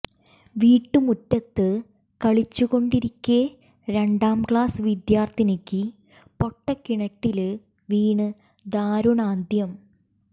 വീട്ടുമുറ്റത്ത് കളിച്ചു കൊണ്ടിരിക്കെ രണ്ടാം ക്ലാസ് വിദ്യാര്ത്ഥിനിക്ക് പൊട്ടക്കിണറ്റില് വീണ് ദാരുണാന്ത്യം